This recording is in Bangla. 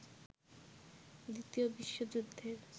দ্বিতীয় বিশ্বযুদ্ধের